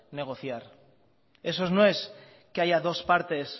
negociar eso no es que haya dos partes